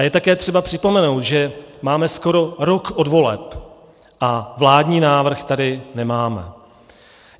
A je také třeba připomenout, že máme skoro rok od voleb a vládní návrh tady nemáme.